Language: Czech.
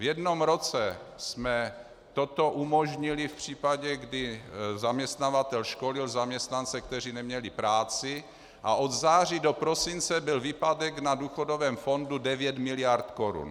V jednom roce jsme toto umožnili v případě, kdy zaměstnavatel školil zaměstnance, kteří neměli práci, a od září do prosince byl výpadek na důchodovém fondu 9 miliard korun.